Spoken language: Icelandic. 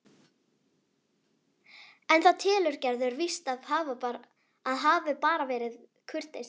En það telur Gerður víst að hafi bara verið kurteisi.